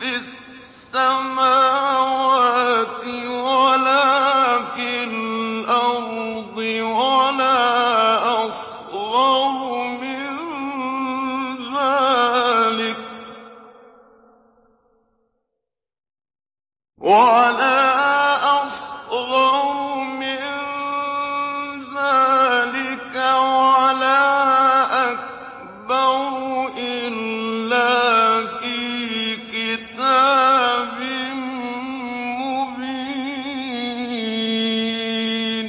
فِي السَّمَاوَاتِ وَلَا فِي الْأَرْضِ وَلَا أَصْغَرُ مِن ذَٰلِكَ وَلَا أَكْبَرُ إِلَّا فِي كِتَابٍ مُّبِينٍ